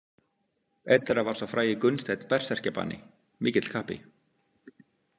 Einn þeirra var sá frægi Gunnsteinn berserkjabani, mikill kappi.